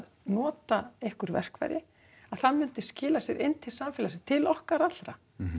nota einhver verkfæri að það myndi skila sér inn til samfélagins til okkar allra